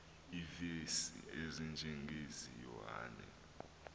iivesi ezinjengezi yohane